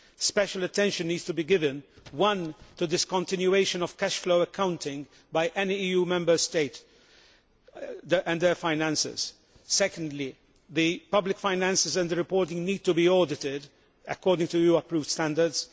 Special attention needs to be given, firstly, to the discontinuation of cash flow accounting by any EU Member State, and their finances. Secondly, the public finances and the reporting need to be audited according to EU approved standards.